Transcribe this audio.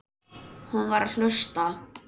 Hún var að hlusta.